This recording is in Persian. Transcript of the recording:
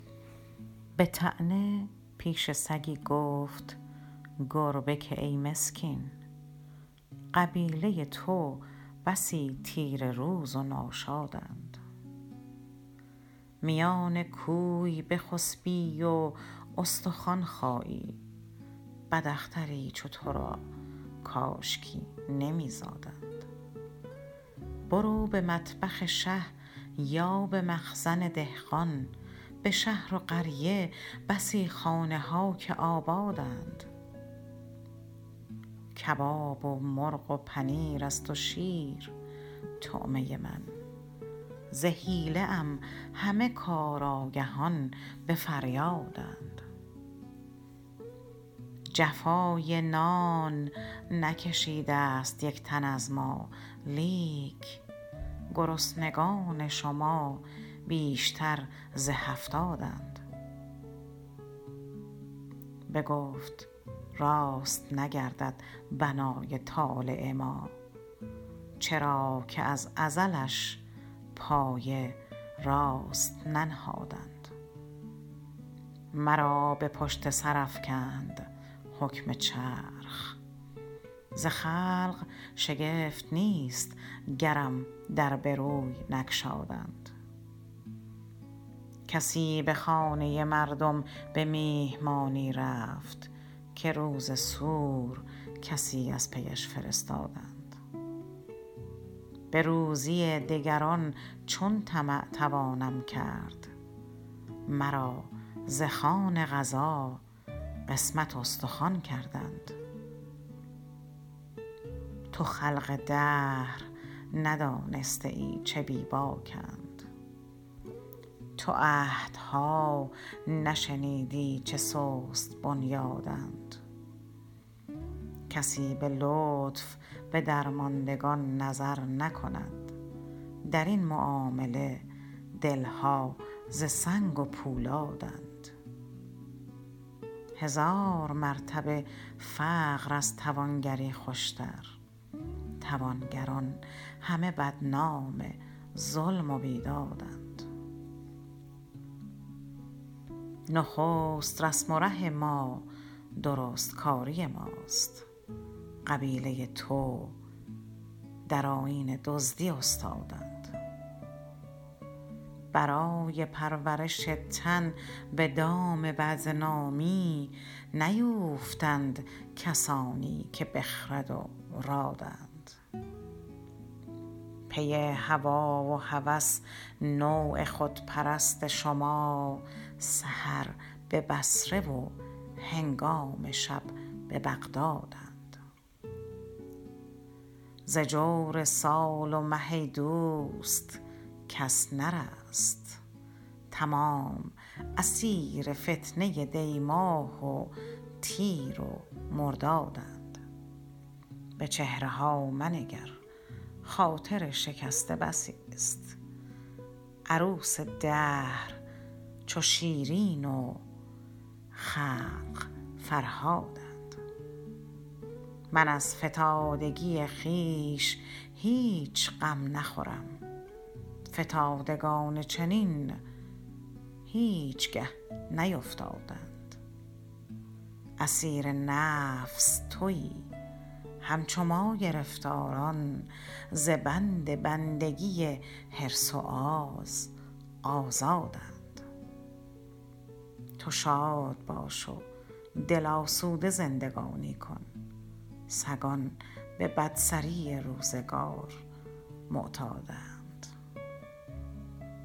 بطعنه پیش سگی گفت گربه کای مسکین قبیله تو بسی تیره روز و ناشادند میان کوی بخسبی و استخوان خایی بداختری چو تو را کاشکی نمیزادند برو به مطبخ شه یا بمخزن دهقان بشهر و قریه بسی خانه ها که آبادند کباب و مرغ و پنیر است و شیر طعمه من ز حیله ام همه کار آگهان بفریادند جفای نان نکشیدست یکتن از ما لیک گرسنگان شما بیشتر ز هفتادند بگفت راست نگردد بنای طالع ما چرا که از ازلش پایه راست ننهادند مرا به پشت سرافکند حکم چرخ ز خلق شگفت نیست گرم در بروی نگشادند کسی بخانه مردم بمیهمانی رفت که روز سور کسی از پیش فرستادند بروزی دگران چون طمع توانم کرد مرا ز خوان قضا قسمت استخوان دادند تو خلق دهر ندانسته ای چه بی باکند تو عهدها نشنیدی چه سست بنیادند کسی بلطف بدرماندگان نظر نکند درین معامله دلها ز سنگ و پولادند هزار مرتبه فقر از توانگری خوشتر توانگران همه بدنام ظلم و بیدادند نخست رسم و ره ما درستکاری ماست قبیله تو در آیین دزدی استادند برای پرورش تن بدام بدنامی نیوفتند کسانی که بخرد و رادند پی هوی و هوس نوع خودپرست شما سحر ببصره و هنگام شب ببغدادند ز جور سال و مه ایدوست کس نرست تمام اسیر فتنه دیماه و تیر و مردادند بچهره ها منگر خاطر شکسته بسی است عروس دهر چو شیرین و خلق فرهادند من از فتادگی خویش هیچ غم نخورم فتادگان چنین هیچگه نیفتادند اسیر نفس تویی همچو ما گرفتاران ز بند بندگی حرص و آز آزادند تو شاد باش و دل آسوده زندگانی کن سگان به بدسری روزگار معتادند